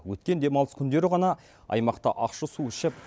өткен демалыс күндері ғана аймақта ащы су ішіп